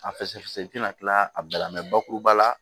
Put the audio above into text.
A fɛsɛfɛsɛ i tɛna tila a bɛɛ la bakuruba la